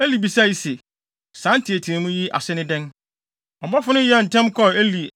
Eli bisae se, “Saa nteɛteɛmu yi ase ne dɛn?” Ɔbɔfo no yɛɛ ntɛm kɔɔ Eli,